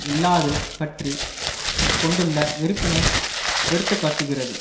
இல்லாது பற்றி கொண்டுள்ள வெறுப்பினை எடுத்து காட்டுகிறது